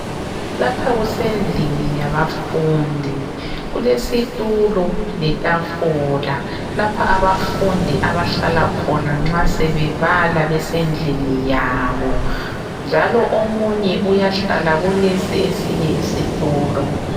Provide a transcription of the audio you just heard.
Lapha kusendlini yabafundi kulesitulo letafula lapha abafundi abahlala khona nxa sebebala bebendlini yabo njalo omunye uyahlala kulesi esinye isithulo